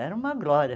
Era uma glória.